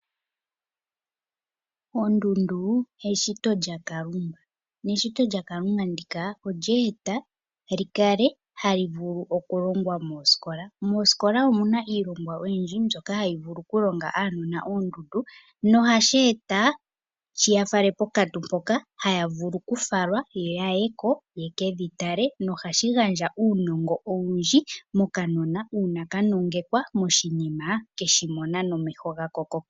Ondundu eshito lyaKalunga neshito lyaKalunga ndika olye eta li kale hali vulu okulongwa moosikola. Moosikola omu na iilongwa oyindji mbyoka hayi vulu okulonga aanona oondundu nohashi eta shi ya fale pokantu mpoka haya vulu okufalwa ya ye ko ye kedhi tale nohashi gandja uunongo owundji mokanona uuna ka nongekwa moshinima keshimona nomeho.